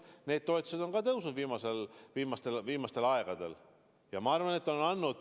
Need toetused on ka tõusnud viimastel aegadel.